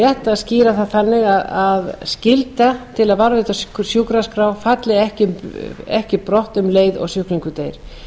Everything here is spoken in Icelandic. að skýra það þannig að skylda til að varðveita sjúkraskrá falli ekki brott um leið og sjúklingur deyr